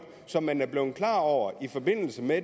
som man er blevet klar over i forbindelse med